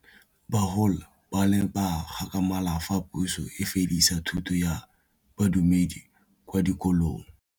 Bagolo ba ne ba gakgamala fa Pusô e fedisa thutô ya Bodumedi kwa dikolong.